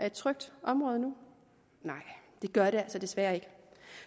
et trygt område nej det gør det altså desværre ikke